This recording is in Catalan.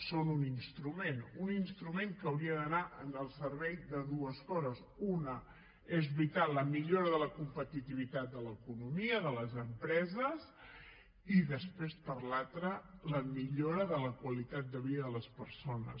són un instrument un instrument que hauria d’anar al servei de dues coses una és veritat la millora de la competitivitat de l’economia de les empreses i després l’altra la millora de la qualitat de vida de les persones